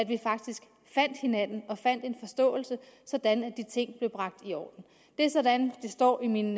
vi faktisk fandt hinanden og fandt en fælles forståelse sådan at de ting blev bragt i orden det er sådan det står i min